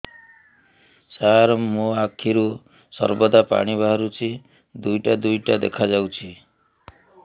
ସାର ମୋ ଆଖିରୁ ସର୍ବଦା ପାଣି ବାହାରୁଛି ଦୁଇଟା ଦୁଇଟା ଦେଖାଯାଉଛି